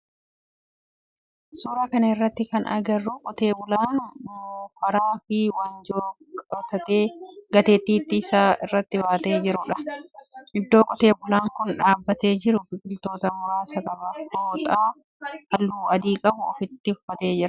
Suuraa kana irratti kana agarru qotee bulaa moofaraa fi waanjoo gateettii isaa irratti baatee jirudha . Iddoo qotee bulaan kun dhaabbatee jiru biqiltoota muraasa qaba. Fooxaa halluu adii qabu uffatee jira.